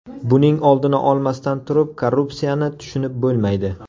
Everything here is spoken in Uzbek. Buning oldini olmasdan turib korrupsiyani tushunib bo‘lmaydi.